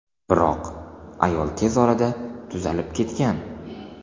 Biroq ayol tez orada tuzalib ketgan.